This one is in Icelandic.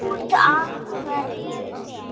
Út af hverju?